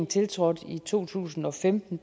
tiltrådte i to tusind og femten